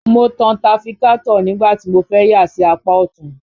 Mo tan tafikátọ̀ nígbà tí mo fẹ́ yà sí apá ọ̀tún